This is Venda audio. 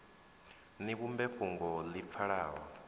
ni vhumbe fhungo ḽi pfalaho